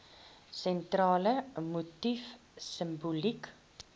sentrale motief simboliek